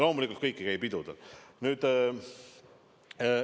Loomulikult, kõik ei käi pidudel.